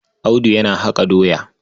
Audu yana haƙa doya.